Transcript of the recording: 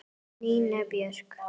Nína Björk.